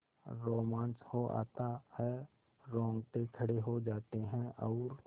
रोमांच हो आता है रोंगटे खड़े हो जाते हैं और